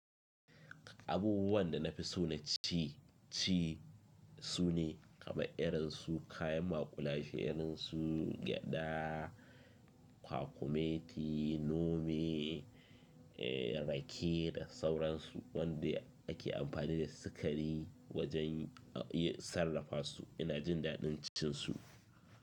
Abubuwan da na fi so na ci, ci su ne, kama irin su kayan maƙulashe irin su gyaɗa, kwakumeti, nome, rake da sauransu wanda ake amfani da sikari wajen a iya sarrafa su. Ina jin daɗin cin su.